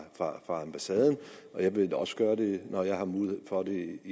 fra ambassaden men jeg vil også gøre det når jeg har mulighed for det